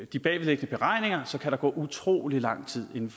de bagvedliggende beregninger kan der gå utrolig lang tid inden